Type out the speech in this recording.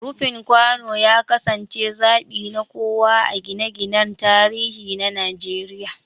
Rufin kwano ya kasance zabi na kowa a gine-ginen tarihi na Najeriya.